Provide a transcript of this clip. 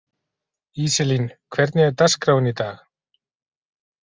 Íselín, hvernig er dagskráin í dag?